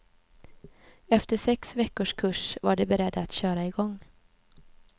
Efter sex veckors kurs var de beredda att köra igång.